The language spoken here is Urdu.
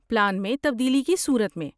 پلان میں تبدیلی کی صورت میں؟